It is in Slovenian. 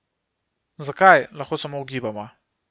Zakaj, lahko samo ugibamo.